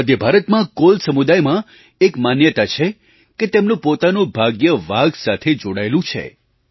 મધ્ય ભારતમાં કોલ સમુદાય માં એક માન્યતા છે કે તેમનું પોતાનું ભાગ્ય વાઘ સાથે જોડાયેલું છે